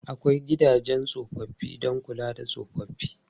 Akwai gidajen tsofaffi don kula da tsofaffi.